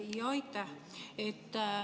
Jaa, aitäh!